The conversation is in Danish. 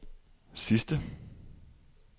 sidste